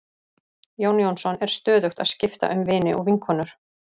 Jón Jónsson er stöðugt að skipta um vini og vinkonur.